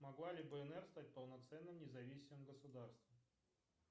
могла ли бнр стать полноценным независимым государством